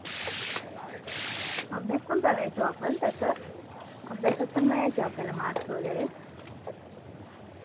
अभ्यास पण करायचो आपण तसं, अभ्यासात पण मिळायचे आपल्याला marks वैगरे